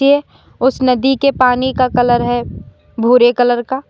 ये उस नदी के पानी का कलर है भूरे कलर का --